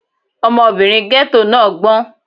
Ọmọbìnrin ghetto náà gbọ́n.